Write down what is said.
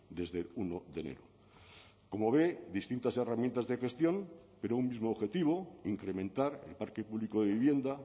desde el uno de enero como ve distintas herramientas de gestión pero un mismo objetivo incrementar el parque público de vivienda